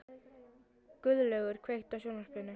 Guðlaugur, kveiktu á sjónvarpinu.